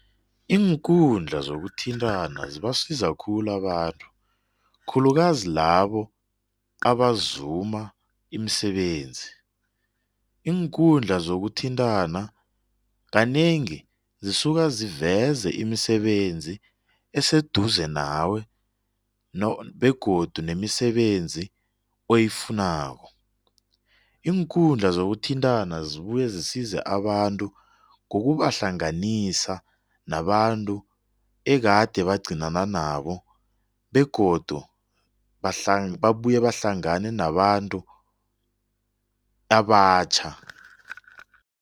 Iinkundla zokuthintana zibasiza abantu khulu, khulukazi labo abaziuma imisebenzi. Iinkundla zokuthintana kanengi zisuka siveza imisebenzi eseduze nawe begodu nemisebenzi oyifunako. Iinkundla zokuthintana ziyabuya zisiza abantu abantu ngokubahlanganisa nabantu ekade bagcinana nabo begodu babuye bahlangane nabantu abatjha.